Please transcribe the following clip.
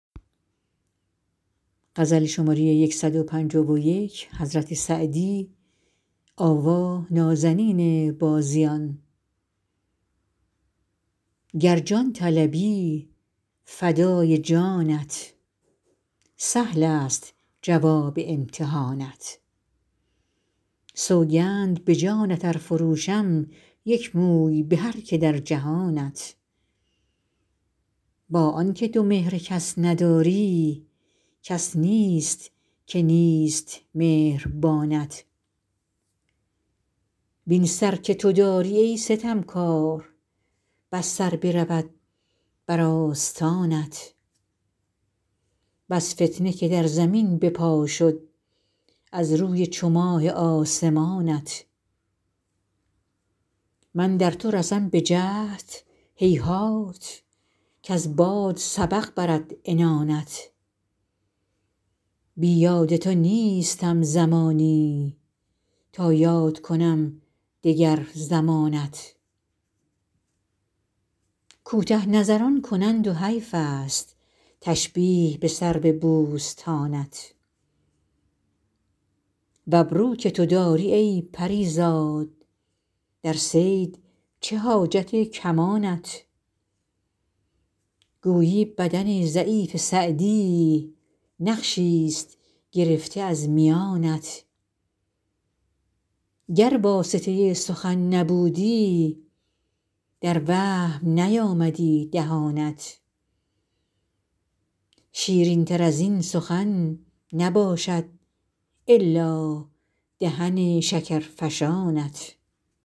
گر جان طلبی فدای جانت سهلست جواب امتحانت سوگند به جانت ار فروشم یک موی به هر که در جهانت با آن که تو مهر کس نداری کس نیست که نیست مهربانت وین سر که تو داری ای ستمکار بس سر برود بر آستانت بس فتنه که در زمین به پا شد از روی چو ماه آسمانت من در تو رسم به جهد هیهات کز باد سبق برد عنانت بی یاد تو نیستم زمانی تا یاد کنم دگر زمانت کوته نظران کنند و حیفست تشبیه به سرو بوستانت و ابرو که تو داری ای پری زاد در صید چه حاجت کمانت گویی بدن ضعیف سعدی نقشیست گرفته از میانت گر واسطه سخن نبودی در وهم نیامدی دهانت شیرینتر از این سخن نباشد الا دهن شکرفشانت